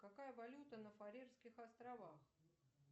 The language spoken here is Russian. какая валюта на фарерских островах